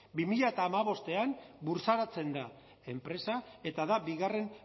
bi mila hamabostean burtsaratzen da enpresa eta da bigarren